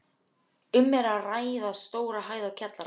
Um er að ræða stóra hæð og kjallara.